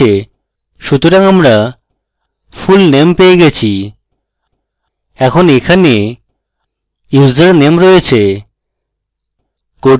সুতরাং আমরা fullname পেয়ে গেছি এখন এখানে username রয়েছে